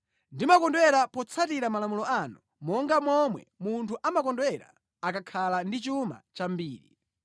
Ndimakondwera potsatira malamulo anu monga momwe munthu amakondwera akakhala ndi chuma chambiri.